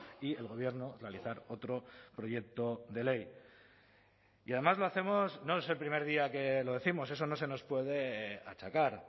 y el gobierno realizar otro proyecto de ley y además lo hacemos no es el primer día que lo décimos eso no se nos puede achacar